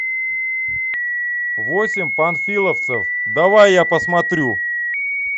восемь панфиловцев давай я посмотрю